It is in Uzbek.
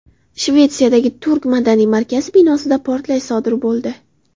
Shvetsiyadagi turk madaniy markazi binosida portlash sodir bo‘ldi.